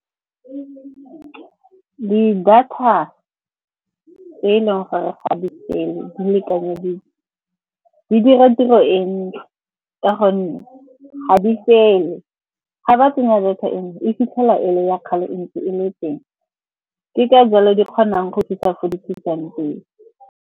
Di-data e leng gore ga di fele di lekanyeditswe, di dira tiro e ntle ka gonne ga di fele. Ga ba tsenya data e nngwe e fitlhela e le ya kgale e ntse e le teng. Ke ka jalo di kgonang go fitlha ko di fitlhang teng.